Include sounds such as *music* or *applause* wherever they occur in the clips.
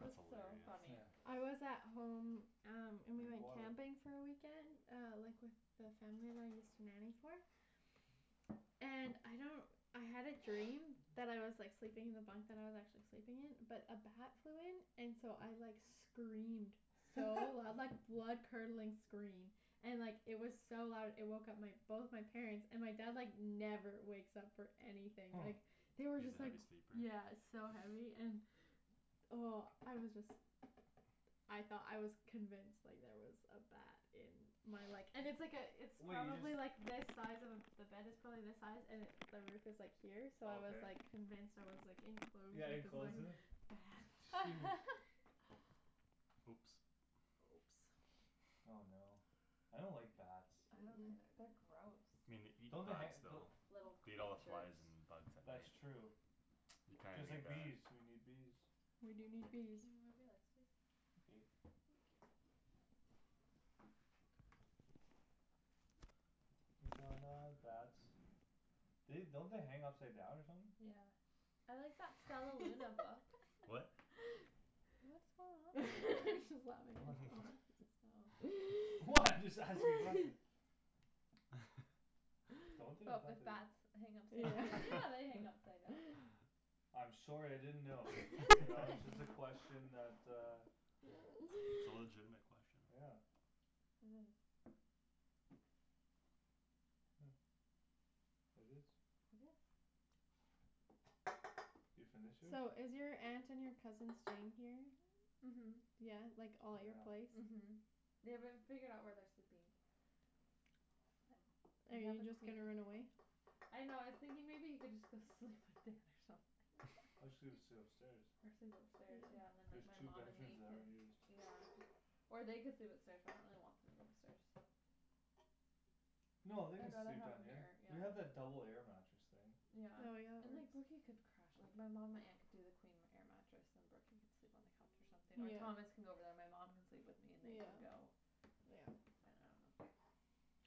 it was that's so hilarious funny yeah I was *noise* at home um and we drink went water camping for a weekend uh like with the family that I used to nanny for and I don't I had a dream *noise* *noise* that I was like sleeping in the bunkbed I was actually sleeping in but a bat flew in and so I like screamed so loud like *laughs* *laughs* blood curdling scream and it was like so loud it woke up my both my parents and my dad like never wakes up for anything huh like they were he's a just like heavy sleeper yeah so *noise* heavy and oh I was just I thought I was convinced like there was a bat in my *noise* like *noise* *noise* and it's like a it's wait you just probably like this size of a the bed is probably this size and it the roof is like here so I was okay like convinced I was like enclosed yeah enclosed with with the it ba- shoot bat *laughs* *laughs* oops oh no I don't like bats uh- uh they're gross me nei- don't they han- *inaudible* don- though little beat all creatures flys and bugs at that's night true you kinda just need like bees that we need bees we do need can you bees move your legs please thank you *inaudible* bats they don't they hang upside down or something yeah I like that Stellaluna book what *laughs* what's going on over there? what oh *laughs* what I'm just asking nothing *laughs* *laughs* don't they I but thought with they bats hang upside yeah *laughs* down yeah they *laughs* hang upside down I'm sorry I didn't know you its know it's *laughs* just a okay *laughs* *laughs* question that uh it's a legitimate *noise* question yeah it is huh it is it is you finish it? so is your aunt and your cousin staying here then? uh-huh yeah like all at your yeah place uh-huh they w- haven't figured out where they're sleeping are you just gonna run *inaudible* away? I know I was thinking maybe he could just go sleep with Dan or something Or just *laughs* sle- sleep upstairs or sleep upstairs yeah yeah and then there's like my two mom and bedrooms me that can aren't used yeah or they could sleep upstairs but I really don't want people upstairs no they can I'd rather sleep have down them here here yeah we have that double air mattress thing yeah oh yeah and there's like Brooky could crash like my mom my aunt could do the queen air mattress and then Brooky could sleep on the couch or something or Thomas yeah could go over there and my mom could sleep with me and they can yeah go yeah I I don't know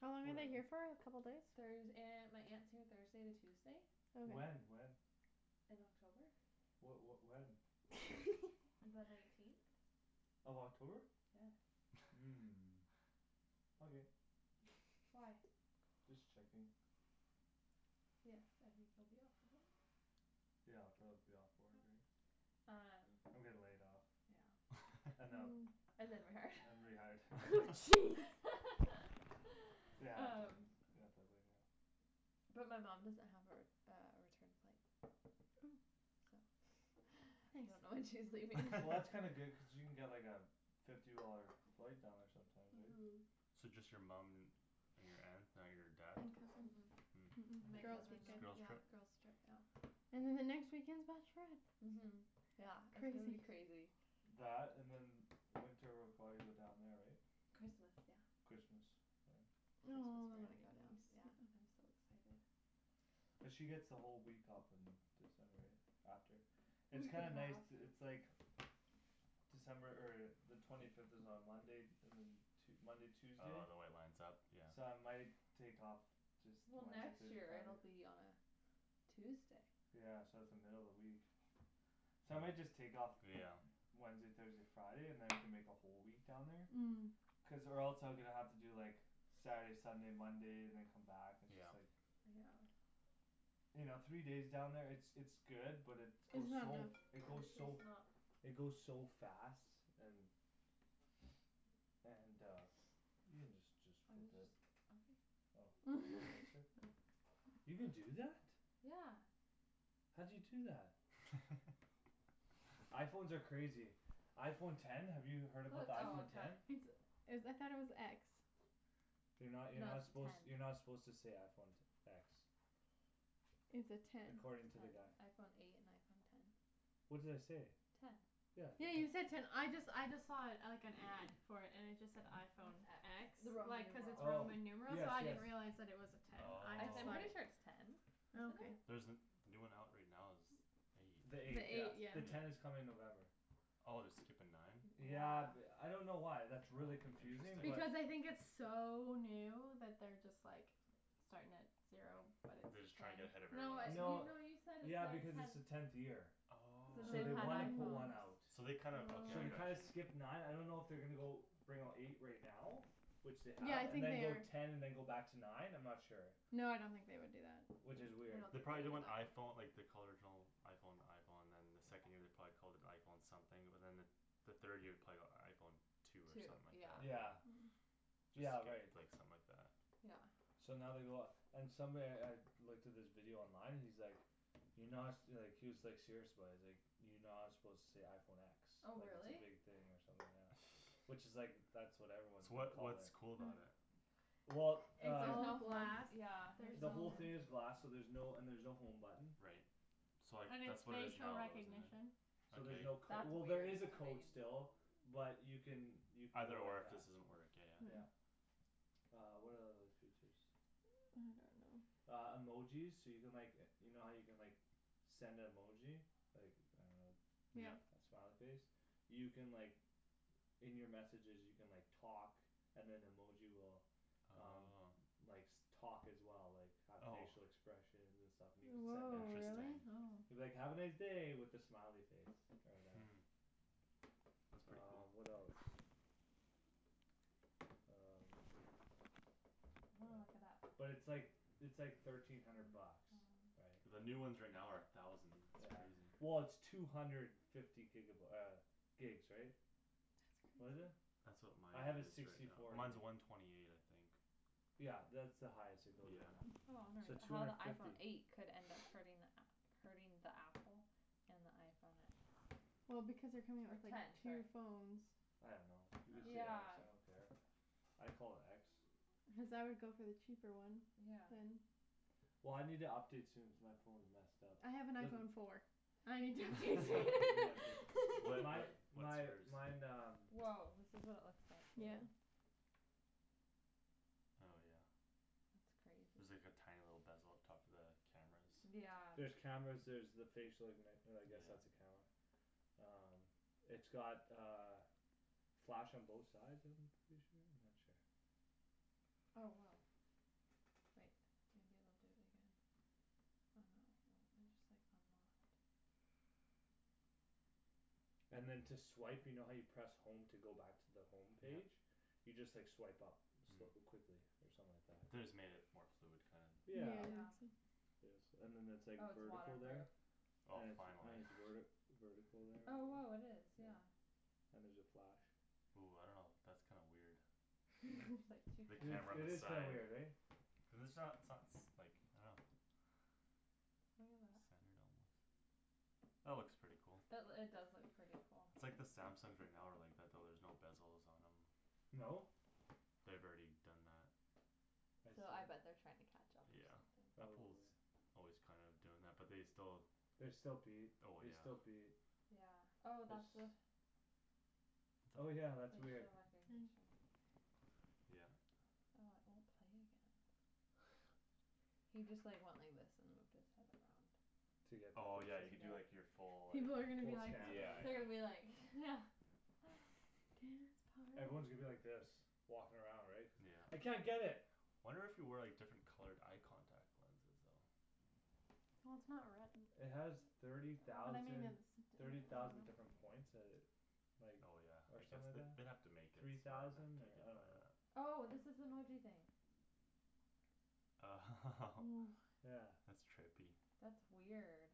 how long are they here for a couple days? Thurs- aunt my aunt's here Thursday to Tuesday when okay when in October wha- what when *laughs* the nineteenth of October yes huh *laughs* okay why just checking yes I think you'll be off the *inaudible* yeah I'll probably be off work right um I'm getting laid off yeah and them ooh *laughs* and then rehired and *laughs* rehired *laughs* *laughs* jeez they *laughs* have to um they have to lay me off but my mom doesn't have her uh a return flight oh so *noise* I don't nice know when she's leaving well that's kinda good *laughs* cause she can get like a fifty dollar flight down there sometimes right uh-huh so just your mum and your *noise* aunt *noise* not your dad uh- uh huh girls' *inaudible* it's a *inaudible* weekend girls' yeah trip girls' trip yeah and then the next weekend's bachelorette uh-huh yeah it's gonna be crazy crazy that and then winter we'll probably go down there right Christmas yeah Christmas *inaudible* oh yeah I'm *inaudible* so excited cuz she get's the whole week off in December yeah after a it's week kinda and a nice half to it's like December er the twenty fifth is on Monday and then Tue- Monday Tuesday oh the way it lines up yeah so I might take off just well Wednesday next Thursday year it'll Friday be on Tuesday yeah so its the middle of the week so I might *noise* just take off yeah Wednesday Thursday Friday and then we can make a whole week down there hm cuz or else I'm gonna have to do like Saturday Sunday Monday and then come back and just yeah like yeah you know three days down there it's it's good but its it's goes not so f- enough it goes so *noise* it goes so fast and and uh you can just just I was just flip it okay oh *inaudible* *laughs* you can do that? yeah how'd you do that? *laughs* iPhones are crazy iPhone ten have you heard about the *inaudible* oh iPhone ten ten it's is I though it was x you're no no you're not its a suppose ten you're not suppose to say iPhone te- x its a ten according ten to the guy iPhone eight and iPhone ten what did I say ten yeah you ten said ten I just I just saw it like an ad for it and it just said iPhone X x the Roman like cuz numeral its oh Roman numeral yes so I yes didn't realize it was a ten I I just I'm thought pretty sure it it's oh ten oh okay isn't it there's the the new one out right now is eight the the the eight eight yeah eight the yeah yeah ten yeah is coming in November oh they're skippin nine yeah yeah th- f I don't know why that's really oh confusing but interesting because I think its so new that they're just like starting at zero but they're it's just ten trying to get ahead of no it- you everyone no else no *inaudible* you said yeah it's because its the their tenth tenth year since so oh they've they had wanna oh put one out iPhones so they kinda okay so I they kinda got oh you skip nine I don't know if they're gonna go bring out eight right now which they yeah have I and think then they go are ten and then go back to nine I'm not sure no I don't think they would do that which is I weird don't they think probably they'd did do when that iPhone like they called the original iPhone the iPhone and then the second year they probably called it iPhone something but then the the third year probably got iPhone two or two something like that yeah yeah *noise* yeah just right skipped like something like that yeah so now they go off and somebody I looked at this video online and he's like you're not su- like he was like serious about it he's like you're not suppose to say iPhone x oh like its a really big thing or something yeah which *noise* is like that's what everyone is so gonna what's call it what's cool about it? well it's uh all glass yeah there's the whole no thing is glass so there's no and there's no home button right so like and its that's what it is facial now isn't recognition it so there's okay no cod- that's well there weird is a to me code still but you can you can go either or like if that this doesn't work yeah yeah yeah uh what are the other features I don't know I don't know uh emojis so you can like e- you know how you can like send a emoji like I don't yeah yeah know a smiley face you can like In your messages you can like talk and then emoji will um oh likes talk as well like have oh facial expressions and stuff and you can send woah that to them really interesting oh you can be like "have a nice day" with a smiley face or whatever hm that's pretty um cool what else um I'm gonna look it up yeah but its like its like thirteen hundred bucks right the new ones right now are a thousand yeah that's crazy well its two hundred fifty giga by- uh gigs right that's that's what is crazy crazy it that's what mine I have a is right sixty now four gig mine's a one twenty eight I think yeah that's the highest it goes right yeah now *inaudible* so two how the hundred iPhone fifty eight could end up *noise* hurting the *noise* app hurting the apple and the iPhone x well because they're coming out or with like ten two sorry phones I don't know you can say x yeah I don't care I call it x cuz I would go for the cheaper one yeah then well I need to update soon cuz my phone's messed up I have an there's iPhone four I need to update *laughs* *inaudible* well soon my what *laughs* what's my yours mine um woah this is what it looks like all yeah right oh yeah that's crazy there's like a tiny little bezel up top for the cameras yeah there's cameras there's the facial ignit- uh I guess that's yeah a camera um it's got uh flash on both sides of them I'm pretty sure I'm not sure oh woah wait maybe it'll do it again oh no it won't I just like unlocked and then to swipe you know how you press home to go back to the home yeah page you just like swipe up *inaudible* hm quickly or something like that they just made it more fluid kinda yeah yeah yeah *inaudible* *inaudible* yes and then that's like oh it's water vertical proof there oh and it's and finally *noise* it's werti vertical there oh and woah it is yeah yeah and there's a flash ooh I don't know that's kinda weird there's *laughs* like two the it is camera on it the is cameras kinda side weird eh cuz its not so- s like I don't know look at that centered almost that looks pretty cool that loo- it does look pretty cool its like the Samsungs are now are like that though there's no bezels on them no? they've already done that I so I see bet they're trying to catch up or yeah something Apple's probably always kinda doing that but they still they still beat oh they yeah still beat yeah oh it's that's the oh yeah that's weird facial *noise* recognition yeah oh it won't play again *noise* he just like went like this and moved his head around to get oh yeah the *inaudible* you do like *inaudible* your full like people are gonna be full like scan or yeah they're yeah gonna whatever be like *laughs* yeah *noise* *noise* dance party everyone's gonna be like this walking around right cuz I yeah can't get it wonder if you wear like different colored eye contact lenses though it has thirty thousand thirty thousand different points that it like oh yeah or I guess something like they that they'd have to make it three smarter thousand to or get I don't that know oh this is the emoji thing oh *laughs* *noise* yeah that's trippy that's weird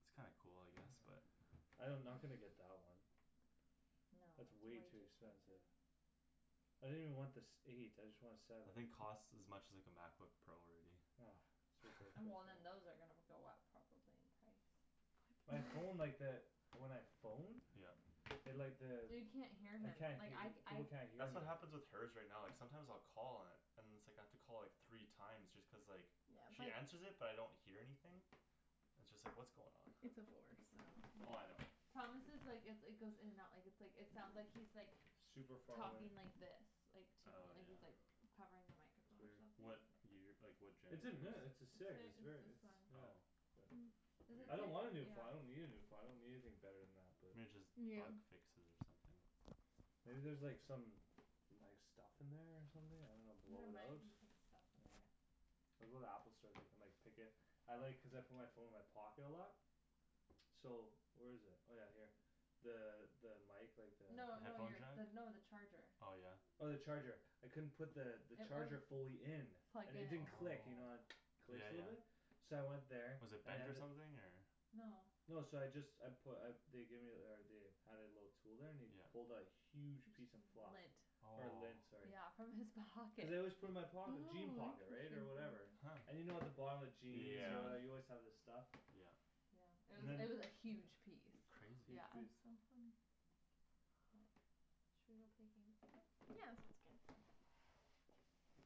it's kinda cool I guess but I don- I'm not gonna get that one no it's it's way way too too expensive expensive I didn't even want the sev- eight I just want a seven I think costs as much as like a MacBook Pro already ah it's and ridiculous well *laughs* man then those are gonna go up probably in price my phone *noise* like that when I phone yeah it like the you can't hear I him can't like hea- I people I can't hear that's me what happens with her's right now like sometimes I'll call and and it's like I have to call like three time just cuz like she answers it but I don't hear anything it's just like what's going on it's a four so oh I know yeah Thomas' like it its goes in and out like its like it sounds like he's super far away talking like this like to me oh like yeah he's like covering the it's microphone or weird something what year like what genera- its a ne- its its a h- six it's its very this its one yeah oh but hm I weir- don't wanna a new phone I don't yeah need a phone I don't need anything bette than that but maybe just yeah bug fixes or something maybe there's like some like some stuff in there or something I don't know blow there it out might be some stuff in I know there I'll go to the Apple store they can like pick it I like cuz I put my phone in my pocket a lot so where's it oh yeah here the the mic like the no no headphone you're jack no the charger oh yeah oh the charger I couldn't put the it charger wouldn't fully in plug and it in didn't click you know the *noise* it oh yeah clicks a little yeah bit so I went there was it and they bent had or th- something or no no so I just I put uh they gave ther- or they had it a little tool there and he yeah pulled a huge piece p- of fluff lint or lint oh sorry yeah from his *laughs* pocket cuz I always put it in my oh pocket jean pocket right or interesting whatever huh and you know at the bottom of jeans or yeah whatever you always have this stuff yeah yeah it and was then it was a huge piece crazy yeah that's *inaudible* so funny but should we go play games now yeah that sounds good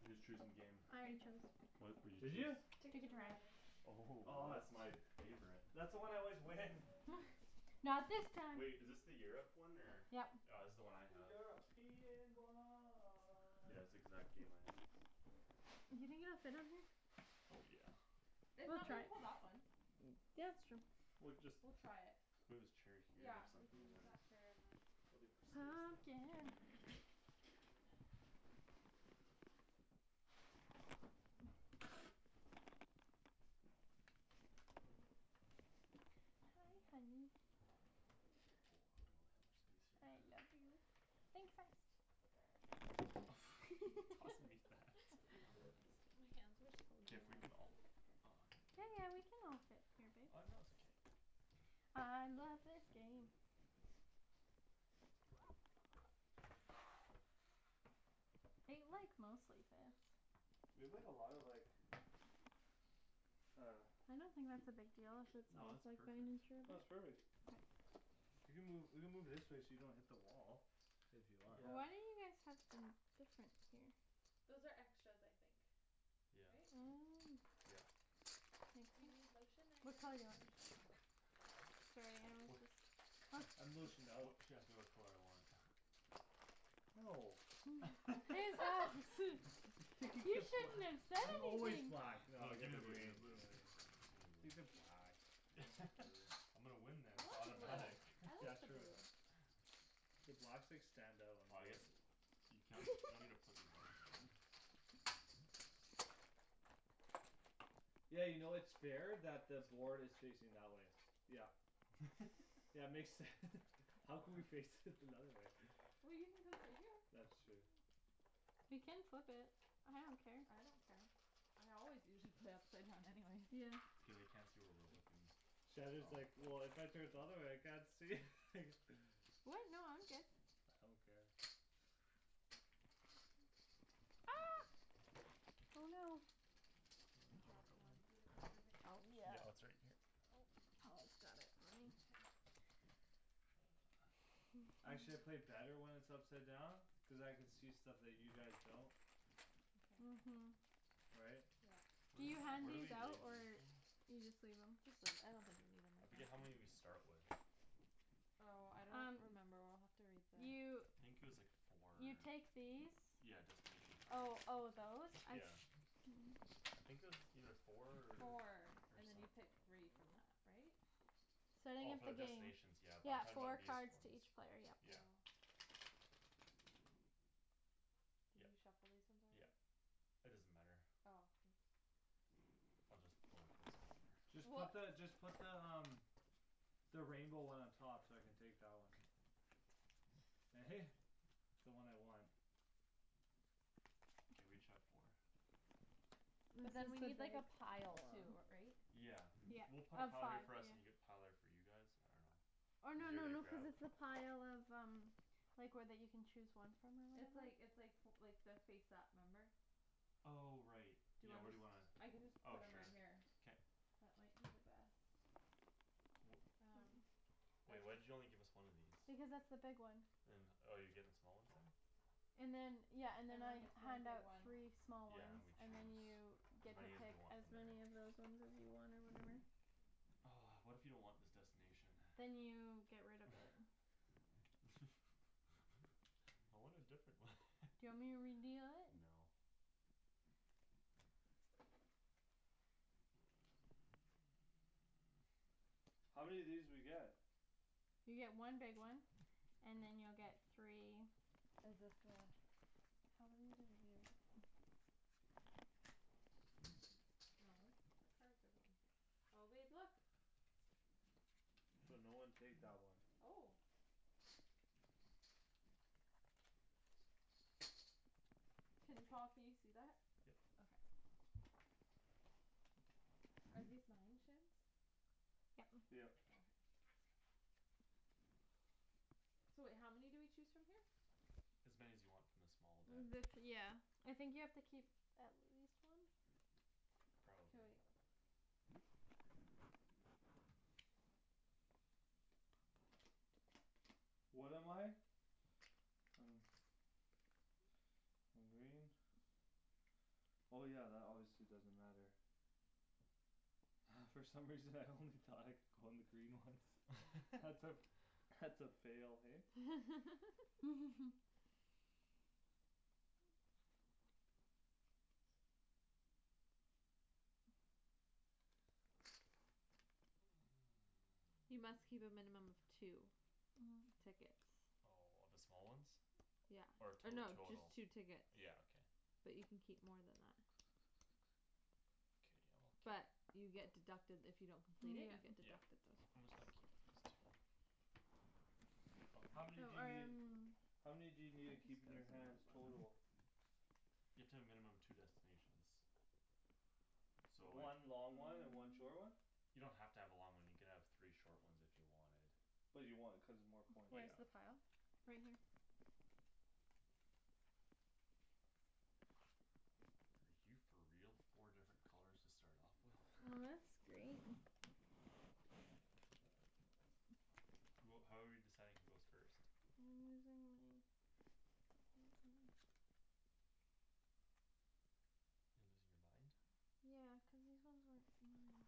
who's choosing game? I already chose what what'd you did you choose Ticket Ticket to to Ride Ride *noise* oh oh that's that's my my favorite that's the one I always win *noise* not this time wait is this the Europe one or yep ah this's the one I have yeah *inaudible* it's exact game I have do you think it'll fit on here? oh yeah if we'll not we try can it pull that one yeah it's true we cu- just we'll try it move this chair here yeah or we something can and then move that chair and then they'll be worse days than pumpkin ah *inaudible* I just wanna put the hi uh honey oh I don't have much space here I love you think fast *noise* you tossing *laughs* me that it also makes my hands are so if we dry can all yeah yeah we *inaudible* can all fit here ah babe no it's okay I love this game it like mostly fits we played a lot of like uh I don't think that's a big deal if its no all it's perfect no its *inaudible* perfect *noise* you can move you can move this way so you don't hit the wall if you want why yeah don't you guys tucked in different here those are extras I think yeah right oh yeah makes do you need sense lotion which anybody color do you need want? lotion? uch sorry I'm wha- just *noise* I'm lotioned wh- out what she asked me what color I want no *laughs* *laughs* *inaudible* you shouldn't *inaudible* have said I'm always anything black naw I you got gimme the the blue green gimme the blue *inaudible* *inaudible* take the black I'll take blue *laughs* I'm gonna win this I it's like the blue automatic oh I yeah like the *laughs* true blue the blacks like stand out on ah the I board guess you can- you don't need to *laughs* put these on there don't worry *noise* yeah you know its fair that the board is facing that way yup yeah makes sense *laughs* *laughs* How could we fix *laughs* it another way well you can come sit here that's true we can flip it I don't care I don't care I always usually play upside down anyways yeah it's okay they can't see where we're *noise* looking Shandryn is *inaudible* like well if I turn it the other way I can't see *laughs* what no I'm good I don't care ah oh no oh I I don't dropped know where it one went did it go under the couch yeah it's yeah right here Paul's got it right *noise* Actually I play better when it's upside down cuz I could see stuff that you guys don't uh- okay hm right yeah where can you d- hand where do these *inaudible* we lay out these or again you just leave them just leave I don't think we need them I right forget how now many we start with oh I don't um remember we'll have to read you I the think it was like four or you take these yeah destination oh cards oh those I yeah se- I think it was either four four or and then some- you pick three from that *noise* right? starting oh of for the the game destination yeah but I'm yeah talking four about these cards to ones each player yep yeah oh did yep you shuffle these ones yep already? it doesn't matter oh oops I'll just go like this whatever just put weh the just put the um the rainbow one on top so I can take that one eh *laughs* the one I want okay we each have four but then this we need like is a the pile too big ri- right one yeah we'll put a oh pile five here for us and you have yeah a pile there for you guys I don't know or no easier no to no cuz grab it's the pile of um like where that you can chose one from or it's whatever like it's like fo like their face up remember oh right do you yeah where do underst- you wanna I can just oh put them right sure here k that might be the best wh- um are wait why'd these you only give us one of these because that's the big one and oh you're getting the small ones then and then yeah and then I everyone gets one hand big out one three small yeah and than ones we and then choose you as get to many as we pick want as from there many of those ones as you want or whatever *noise* what if you don't want this destination then you get rid of it *noise* *laughs* I want a different one *laughs* do you want me to redeal it? no *noise* how many of these do we get? you get one big one and then you'll get three is this the how many do we do no the cards are going here oh babe look so no one take that one oh can Paul can you see that? yep okay are these mine Shans yep yep okay so wait how many do we choose from here? as many as you want from the small deck the th- yeah I think you have to keep at least one k probably wait what am I? I don't I'm green oh yeah that obviously doesn't matter *laughs* from some reason I only thought I could go on the green ones that's a *laughs* that's a fail hey *laughs* *laughs* you must keep a minimum of two *noise* oh tickets oh of the small ones yeah or or two no just total two tickets yeah okay but you can keep more than *noise* that k I'll keep but you get deducted if you don't complete it you yeah get yeah deducted those I'm points just gonna keep these two oh how here oh many do you need um how many do you need to keep in your hands total? *inaudible* you have to have a minimum two destinations so like one long one and one short one *noise* you don't have to have a long one you can have three short ones if you wanted but you want it cuz its more points where's yeah the *inaudible* pile? right here *noise* are you for real four different colors to start off with well *noise* that's great who how are we deciding who goes first I'm losing my *noise* are you losing your mind yeah cuz these ones weren't mine